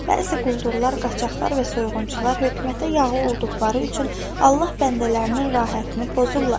Bəzi quldurlar, qaçaqlar və soyğunçular hökumətə yağı olduqları üçün Allah bəndələrinin rahətini pozurlar.